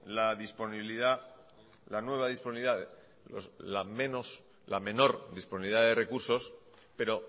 la menor disponibilidad de recursos pero